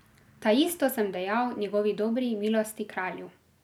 Taisto sem dejal njegovi dobri milosti kralju.